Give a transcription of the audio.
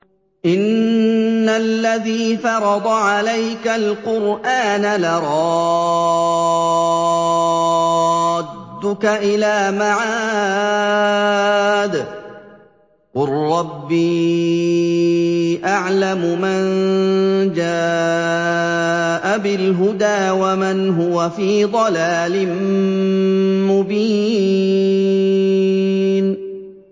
إِنَّ الَّذِي فَرَضَ عَلَيْكَ الْقُرْآنَ لَرَادُّكَ إِلَىٰ مَعَادٍ ۚ قُل رَّبِّي أَعْلَمُ مَن جَاءَ بِالْهُدَىٰ وَمَنْ هُوَ فِي ضَلَالٍ مُّبِينٍ